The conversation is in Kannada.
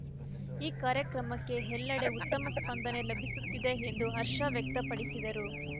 ಈ ಕಾರ್ಯಕ್ರಮಕ್ಕೆ ಎಲ್ಲೆಡೆ ಉತ್ತಮ ಸ್ಪಂದನೆ ಲಭಿಸುತ್ತಿದೆ ಎಂದು ಹರ್ಷ ವ್ಯಕ್ತಪಡಿಸಿದರು